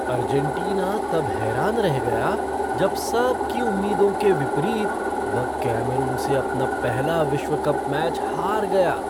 Argentina तब हैरान रह गया जब सबकी उम्मीदों के विपरीत वह कैमरून से अपना पहला विश्व कप मैच हार गया।